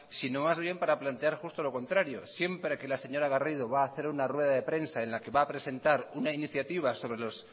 sino más bien para plantear justo lo contrario siempre que la señora garrido va a hacer una rueda de prensa en la que va a presentar una iniciativa